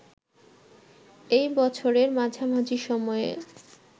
এই বছরের মাঝামাঝি সময়ে